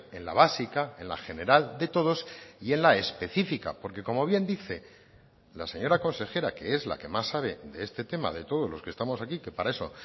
en la básica en la general de todos y en la específica porque como bien dice la señora consejera que es la que más sabe de este tema de todos los que estamos aquí que para eso